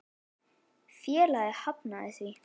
Félagið hafnaði því.